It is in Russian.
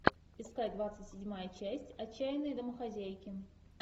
искать двадцать седьмая часть отчаянные домохозяйки